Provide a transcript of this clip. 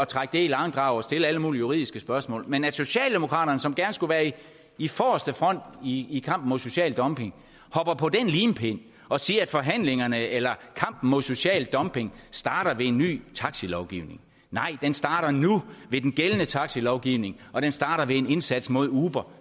trække det i langdrag og stille alle mulige juridiske spørgsmål men tænk at socialdemokraterne som gerne skulle være i forreste front i i kampen mod social dumping hopper på den limpind og siger at forhandlingerne eller kampen mod social dumping starter ved en ny taxalovgivning nej den starter nu ved den gældende taxalovgivning og den starter ved en indsats mod uber